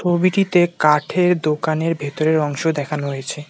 ছবিটিতে কাঠের দোকানের ভেতরের অংশ দেখানো হয়েছে।